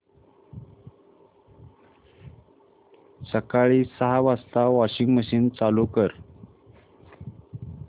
सकाळी सहा वाजता वॉशिंग मशीन चालू कर